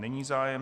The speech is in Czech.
Není zájem.